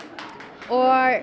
og